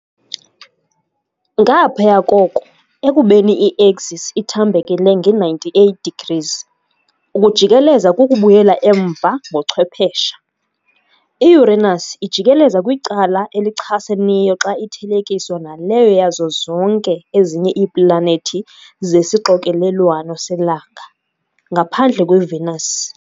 Ngaphaya koko, ekubeni i-axis ithambekele nge-98 degrees, ukujikeleza kukubuyela umva ngochwephesha. I-Uranus ijikeleza kwicala elichaseneyo xa ithelekiswa naleyo yazo zonke ezinye iiplanethi zesixokelelwano selanga, ngaphandle kweVenus.